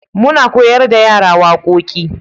muna koyar da yara waƙoƙi